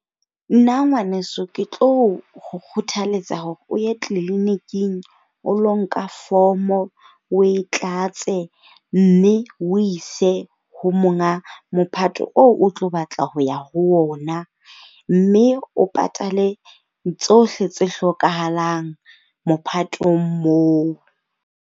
Nna ngwaneso, ke tlo o kgothaletsa hore o ye clinic-ing o lo nka form. O e tlatse, mme o ise ho monga mophato oo o tlo batla ho ya ho ona. Mme o patale tsohle tse hlokahalang mophatong moo.